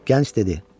Gənc dedi: